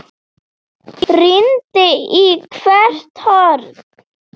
Rýndi í hvert horn.